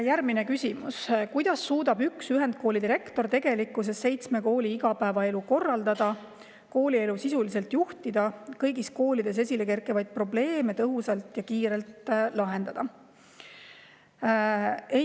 Järgmine küsimus: "Kuidas suudab üks ühendkooli direktor tegelikkuses seitsme kooli igapäevaelu korraldada, koolielu sisuliselt juhtida, kõigis koolides esilekerkivaid probleeme tõhusalt ja kiirelt lahendada?